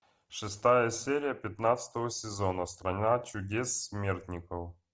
шестая серия пятнадцатого сезона страна чудес смертников